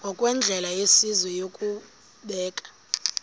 ngokwendlela yesizwe yokubeka